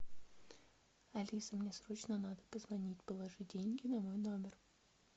алиса мне срочно надо позвонить положи деньги на мой номер